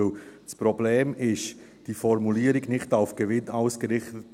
Denn das Problem ist die Formulierung «nicht auf Gewinn ausgerichtet».